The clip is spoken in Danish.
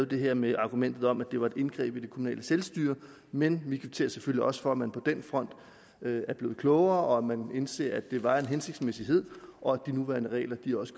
det her med argumentet om at det var et indgreb i det kommunale selvstyre men vi kvitterer selvfølgelig også for at man på den front er blevet klogere og at man indser at det var en hensigtsmæssighed og at de nuværende regler